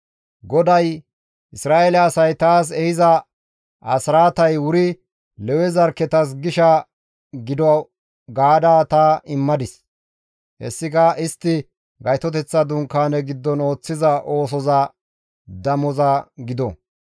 GODAY, «Isra7eele asay taas ehiza asraatay wuri Lewe zarkketas gisha gido gaada ta immadis; hessika istti Gaytoteththa Dunkaane giddon ooththiza oosoza damoza gido.